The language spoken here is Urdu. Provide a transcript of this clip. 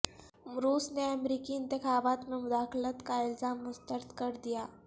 روس نے امریکی انتخابات میں مداخلت کا الزام مسترد کر دیا